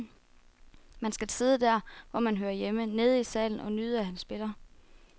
Man skal sidde der, hvor man hører hjemme, nede i salen, og nyde at han spiller.